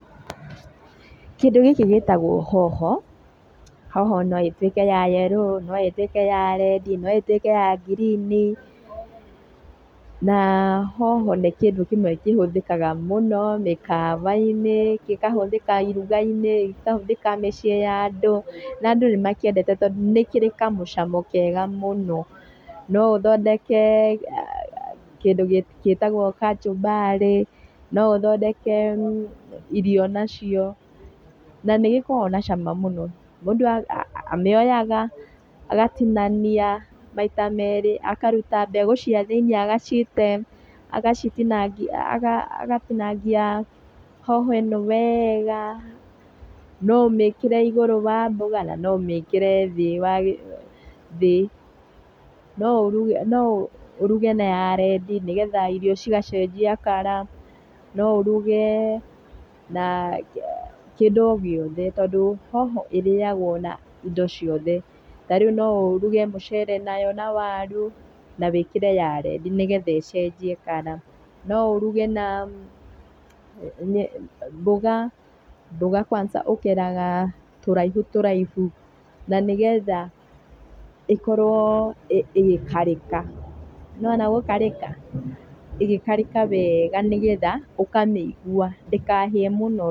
Kĩndũ gĩkĩ gĩtagwo hoho, hoho no ĩtuĩke ya yerũ, no ĩtuĩke ya rendi, no ĩtuĩke ya ngirini. Na hoho nĩ kĩndũ kĩmwe kĩhũthikaga mũno mĩkawa-inĩ, gĩkahũthĩka iruga-inĩ, gĩkahũthĩka miciĩ ya andũ. Na andũ nĩmakĩendete tondũ nĩ kĩrĩ kamũcamo kega mũno. No ũthondeke kĩndũ gĩtagwo kachumbarĩ, no ũthondeke irio nacio, na nĩgĩkoragwo na cama mũno. Mũndũ amĩoyaga, agatinania maita merĩ, akaruta mbegũ cia thĩiniĩ agacite, agacitinangia agatinangia hoho ĩ no wega. No ũmĩkĩre igũrũ wa mboga na no ũmĩkire thĩ, no ũruge na ya rendi nĩgetha irio cigacenjia colour, no ũruge na kĩndũ o gĩothe tondũ hoho ĩrĩyagwo na indo ciothe tondũ, no ũrũge mũcere nayo na waru na wĩkĩre ya rendi nĩgetha icenjie colour. No ũruge na mboga, mboga kwanza ũkeraga tũraihu tũraihu na nĩgetha ĩkorwo ĩgĩkarĩka, nĩwona gũkarĩka, ĩgĩkarĩka wega nĩgetha ũkamĩigua ndĩkahĩe mũno.